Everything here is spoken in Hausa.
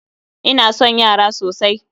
Ina son yara sosai